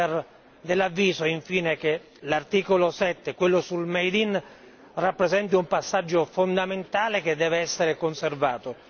Siamo infine dell'avviso che l'articolo 7, quello sul made in rappresenti un passaggio fondamentale che deve essere conservato.